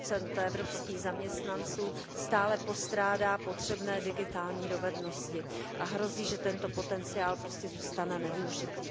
40 evropských zaměstnanců stále postrádá potřebné digitální dovednosti a hrozí, že tento potenciál prostě zůstane nevyužitý.